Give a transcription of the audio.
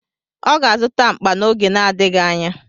Ọ ga-azụta mkpa n'oge n'adịghị anya.